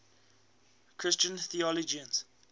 christian theologians